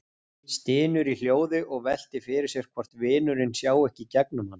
Stynur í hljóði og veltir fyrir sér hvort vinurinn sjái ekki í gegnum hann.